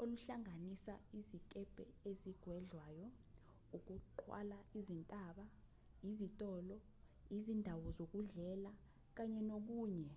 oluhlanganisa izikebhe ezigwedlwayo ukuqwala izintaba izitolo izindawo zokudlela kanye nokunye